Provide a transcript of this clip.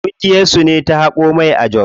Ƙungiyar su ce ta haƙo mai a jos.